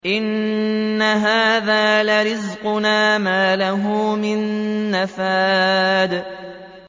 إِنَّ هَٰذَا لَرِزْقُنَا مَا لَهُ مِن نَّفَادٍ